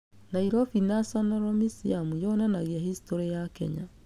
Nairobi National Meseum yonanagĩa historĩ ya Kenya.